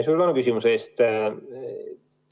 Suur tänu küsimuse eest!